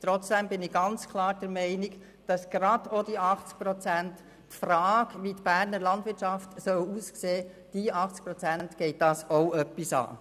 Trotzdem bin ich ganz klar der Meinung, dass die Frage, wie die Berner Landwirtschaft aussehen soll, gerade jene 80 Prozent der Grossrätinnen und Grossräte auch etwas angeht.